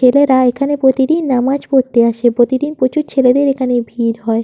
ছেলেরা এখানে প্রতিদিন নামাজ পড়তে আসে। প্রতিদিন প্রচুর ছেলেদের এখানে ভিড় হয়।